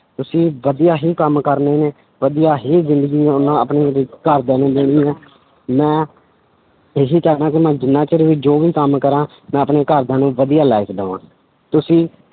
ਤੁਸੀਂ ਵਧੀਆ ਹੀ ਕੰਮ ਕਰਨੇ ਨੇ, ਵਧੀਆ ਹੀ ਜ਼ਿੰਦਗੀ ਉਹਨਾਂ ਆਪਣੀ ਘਰਦਿਆਂ ਨੂੰ ਦੇਣੀ ਹੈ ਮੈਂ ਇਹੀ ਚਾਹੁਨਾ ਕਿ ਮੈਂ ਜਿੰਨਾ ਚਿਰ ਵੀ ਜੋ ਵੀ ਕੰਮ ਕਰਾਂ ਮੈਂ ਆਪਣੇ ਘਰਦਿਆਂ ਨੂੰ ਵਧੀਆ life ਦੇਵਾਂ, ਤੁਸੀਂ